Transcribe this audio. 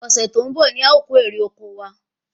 Ọ̀sẹ̀ tó ń bọ̀ ni a o kò èrè oko wa